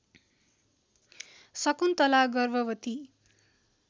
शकुन्तला गर्भवती